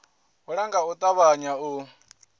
hula nga u ṱavhanya u